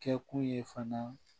Kɛkun ye fana